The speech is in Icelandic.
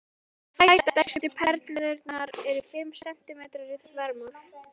Tvær stærstu perlurnar eru fimm sentímetrar í þvermál.